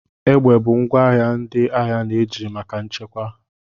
Egbe bụ ngwa agha ndị agha na-eji maka nchekwa.